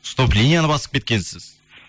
стоп линияны басып кеткенсіз